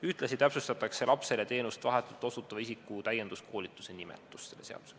Ühtlasi täpsustatakse selle seadusega lapsele teenust vahetult osutava isiku täienduskoolituse nimetust.